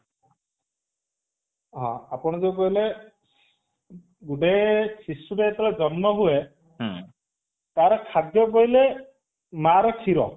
ହଁ ଆପଣ ଯୋଉ କହିଲେ ଗୁଟେ ଶିଶୁ ଟେ ଯେତେବେଳେ ଜନ୍ମ ହୁଏ ତାର ଖାଦ୍ୟ କହିଲେ ମାର କ୍ଷୀର